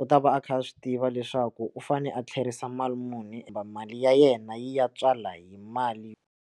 u ta va a kha a swi tiva leswaku u fane a tlherisa mali muni kumbe mali ya yena yi ya tswala hi mali.